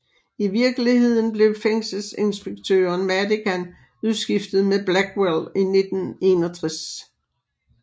I virkeligheden blev fængselinspektøren Madigan udskiftet med Blackwell i 1961